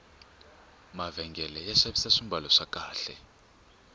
mavhengele ya xavisa swambalo swa kahle